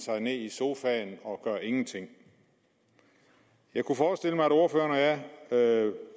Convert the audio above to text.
ned i sofaen og gør ingenting jeg kunne forestille mig at ordføreren og jeg